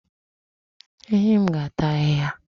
Ehi m ga-ata ahihia